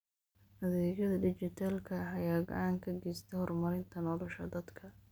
Adeegyada dijitaalka ah ayaa gacan ka geysta horumarinta nolosha dadka.